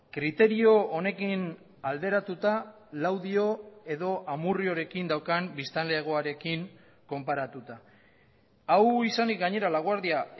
kriterio honekin alderatuta laudio edo amurriorekin daukan biztanlegoarekin konparatuta hau izanik gainera laguardia